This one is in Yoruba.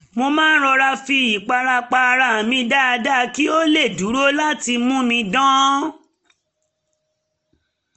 mo rọra fi ìpara pa ara mi dáadáa kí ó lè dúró láti mú mi dán